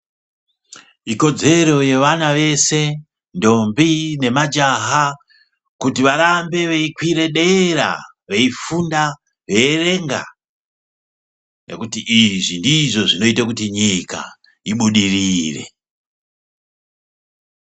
Ikodzero yevana veshe ntombi nemajaha kuti varambe veikwira dera veifunda veierenga ngekuti izvi ndizvo zvinoite kuti nyika ibudirire.